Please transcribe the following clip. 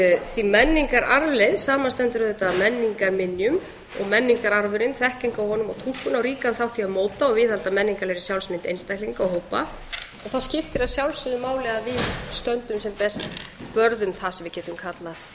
því að menningararfleifð samanstendur auðvitað af menningarminjum og menningararfurinn þekking á honum og túlkun á ríkan þátt í að móta og viðhalda menningarlegri sjálfsmynd einstaklinga og hópa og það skiptir að sjálfsögðu máli að við stöndum sem best vörð um það sem við getum kallað